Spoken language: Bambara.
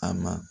A ma